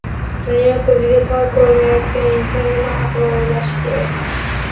Dunyo ko‘ziga tor ko‘rinayotgan inson nima haqida o‘ylashi kerak?.